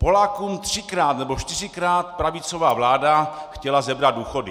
Polákům třikrát nebo čtyřikrát pravicová vláda chtěla sebrat důchody.